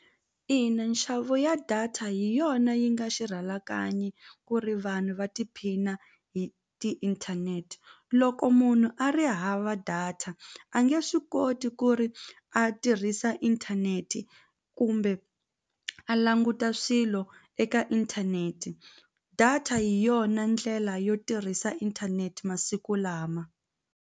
Ina nxavo ya data hi yona yi nga xirhalanganyi ku ri vanhu va tiphina hi tiinthanete loko munhu a ri hava data a nge swi koti ku ri a tirhisa inthaneti kumbe a languta swilo eka inthaneti data hi yona ndlela yo tirhisa inthaneti masiku lama.